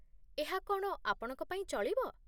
ଏହା କ'ଣ ଆପଣଙ୍କ ପାଇଁ ଚଳିବ?